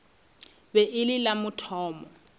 be e le la mathomo